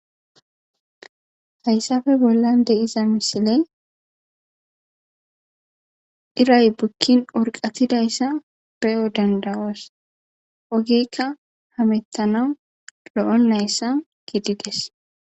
Hayissappe boollan diza misiley iray bukin urqatidayissa ogeyikka hamutanass lo"ontayissa gidides